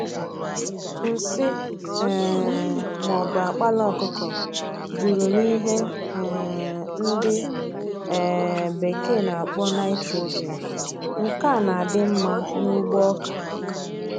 Nsị um ma ọbụ akpala ọkụkọ juru na ihe um ndị um bekee n'akpọ Nìtrojin, nke a n'adị mmá n'ugbo ọkà